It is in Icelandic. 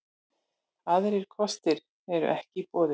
Aðrir kostir eru ekki í boði